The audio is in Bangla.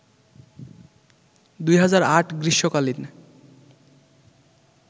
২০০৮ গ্রীষ্মকালীন